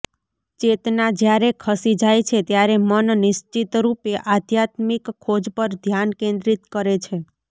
ચેતના જ્યારે ખસી જાય છે ત્યારે મન નિશ્ચિતરૂપે આધ્યાત્મિક ખોજ પર ધ્યાન કેન્દ્રિત કરે છે